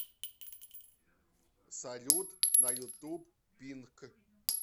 салют на ютуб пинк